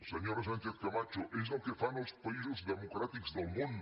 senyora sánchez camacho és el que fan els països democràtics del món